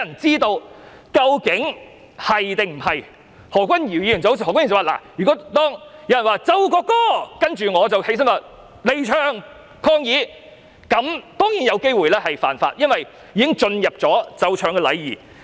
正如何君堯議員所說，如果有人說"奏國歌"，然後我離場抗議，這樣當然有機會犯法，因為已經涉及奏唱禮儀。